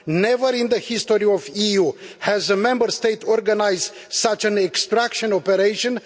Never in the history of the EU has a Member State organised such an extraction operation.